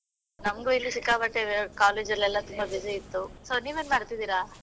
ನಮಗೂ ಇಲ್ಲಿ ಸಿಕ್ಕಾಪಟ್ಟೆ college ಅಲ್ಲಿ ಎಲ್ಲ ತುಂಬಾ busy ಇತ್ತು, so ನೀವೇನ್ ಮಾಡ್ತಾ ಇದ್ದೀರಾ?